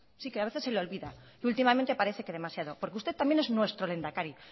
si es que a veces se le olvida que últimamente parece que demasiado porque usted también es nuestro lehendakari